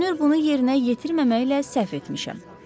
Görünür, bunu yerinə yetirməməklə səhv etmişəm.